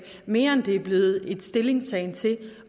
mere end det er blevet en stillingtagen til